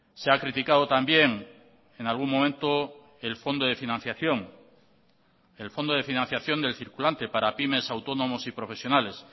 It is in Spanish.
se ha criticado también en algún momento el fondo de financiación el fondo de financiación del circulante para pymes autónomos y profesionales